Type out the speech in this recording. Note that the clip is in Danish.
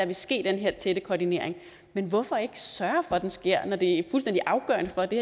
vil ske den her tætte koordinering men hvorfor ikke sørge for at den sker når det er fuldstændig afgørende for at det